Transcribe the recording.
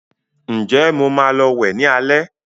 Ǹjẹ́ Mo maa lọ wẹ̀ ní alẹ́